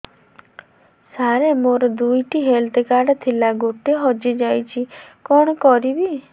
ସାର ମୋର ଦୁଇ ଟି ହେଲ୍ଥ କାର୍ଡ ଥିଲା ଗୋଟେ ହଜିଯାଇଛି କଣ କରିବି